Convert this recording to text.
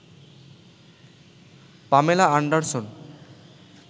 Pamela Anderson